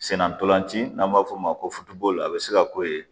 Senna ntolanci n'an b'a f'o ma ko a bi se ka k'o ye